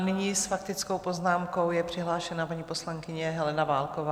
A nyní s faktickou poznámkou je přihlášena paní poslankyně Helena Válková.